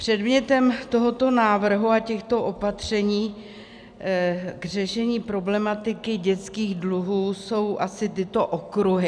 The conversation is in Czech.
Předmětem tohoto návrhu a těchto opatření k řešení problematiky dětských dluhů jsou asi tyto okruhy.